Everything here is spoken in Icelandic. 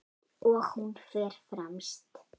Og hún fer fremst.